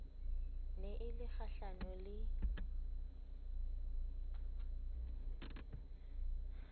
ne e le kgahlano le